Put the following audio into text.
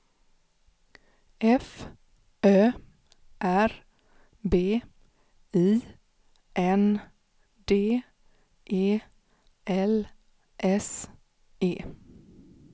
F Ö R B I N D E L S E